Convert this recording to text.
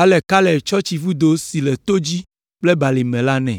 Ale Kaleb tsɔ tsivudo si le to dzi kple balime la nɛ.